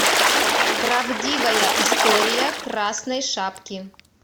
правдивая история красной шапки